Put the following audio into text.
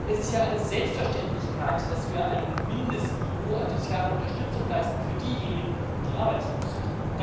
Es ist ja eine Selbstverständlichkeit, dass wir ein Mindestniveau an sozialer Unterstützung für diejenigen leisten, die arbeitslos sind.